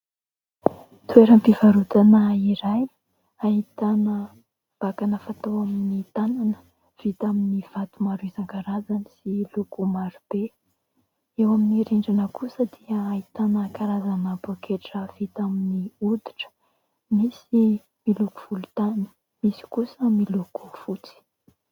Toeram-pivarotana iray ahitana vakana fatao amin'ny tanana vita amin'ny vato maro isan-karazany sy loko maro be. Eo amin'ny rindrina kosa dia ahitana karazana poaketra vita amin'ny oditra. Misy miloko volontany, misy kosa miloko fotsy.